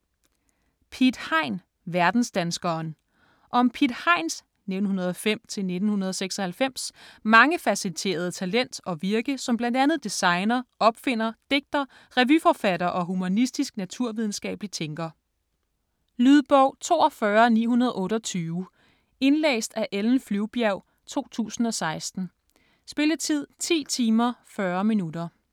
Piet Hein - verdensdanskeren Om Piet Heins (1905-1996) mangefacetterede talent og virke som bl.a. designer, opfinder, digter, revyforfatter og humanistisk-naturvidenskabelig tænker. Lydbog 42928 Indlæst af Ellen Flyvbjerg, 2016. Spilletid: 10 timer, 40 minutter.